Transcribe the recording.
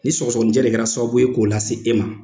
Ni sɔgɔsɔgɔnijɛ de kɛra sababu ye k'o lase e ma,